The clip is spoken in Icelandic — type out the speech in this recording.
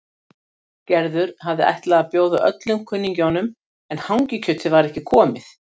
Gerður hafði ætlað að bjóða öllum kunningjunum en hangikjötið var ekki komið.